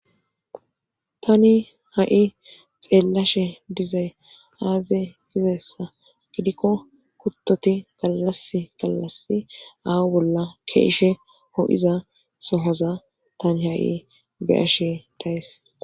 tani ha'i xeellashe dizay aaze gizayissa gidikko kuttoti galas gallasi awu bolla ke'ishe ho'iza sohaza tani ha'i be'ashe dayis